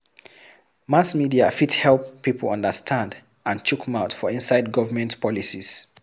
Mass media fit help pipo understand and chook mouth for inside government policies